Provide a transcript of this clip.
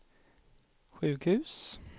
sjukhus